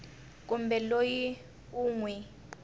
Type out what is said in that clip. kumbe loyi u n wi